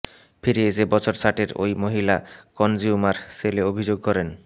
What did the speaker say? ফিরে এসে বছর ষাটের ওই মহিলা কনজিউমার সেলে অভিযোগ করেন